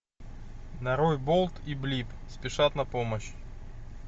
нарой болт и блип спешат на помощь